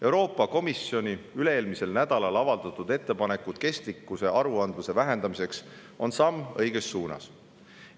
Euroopa Komisjoni üle-eelmisel nädalal avaldatud ettepanekud kestlikkusaruandluse vähendamiseks on samm õiges suunas.